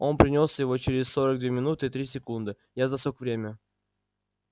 он принёс его через сорок две минуты и три секунды я засек время